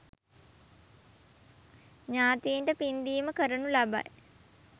ඥාතීන්ට පින්දීම කරනු ලබයි.